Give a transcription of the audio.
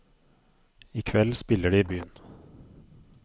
I kveld spiller de i byen.